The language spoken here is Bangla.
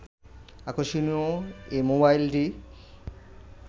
আকষর্ণীয় এ মোবাইলটি